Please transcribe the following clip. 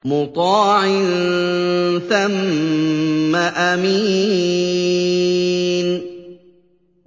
مُّطَاعٍ ثَمَّ أَمِينٍ